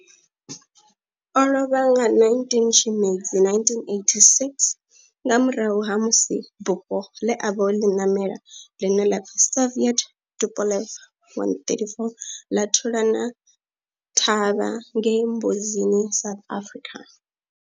O lovha nga 19 Tshimedzi 1986 nga murahu ha musi bufho ḽe a vha o ḽi namela, ḽine ḽa pfi Soviet Tupolev 134 ḽa thulana thavha ngei Mbuzini, South Africa.